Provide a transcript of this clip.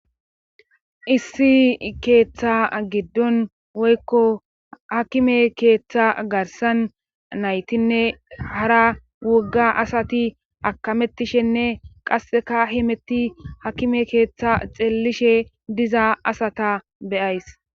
Issi keeththa giddon woykko hakime keeththa garsan naytinne hara wogga asati akamettishenne qasseka himetti hakime keeththa xeellishe diza asata beyays